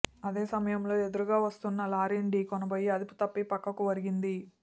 అదే సమయంలో ఎదురుగా వస్తున్న లారీని ఢీకొనబోయి అదుపు తప్పి పక్కకు ఒరిగింది